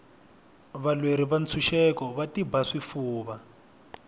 valweri va ntshuxeko va tiba swifuva